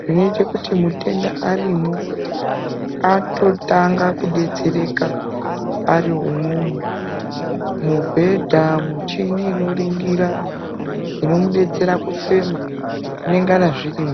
zvinoita kuti mutenda arimwo atotanga kudetsereka ari imwomwo, mubhedha, michini inoringira inomudetsera kufema zvinengana zvirimwo.